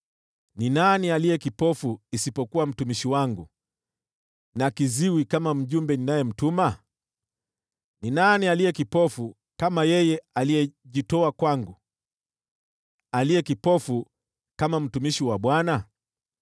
Ni nani aliye kipofu isipokuwa mtumishi wangu, na kiziwi kama mjumbe ninayemtuma? Ni nani aliye kipofu kama yeye aliyejitoa kwangu, aliye kipofu kama mtumishi wa Bwana ?